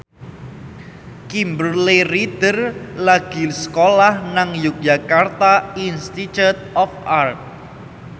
Kimberly Ryder lagi sekolah nang Yogyakarta Institute of Art